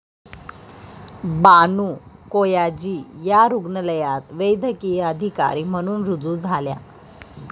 बानू कोयाजी या रुग्णालयात वैद्यकीय अधिकारी म्हणून रुजू झाल्या.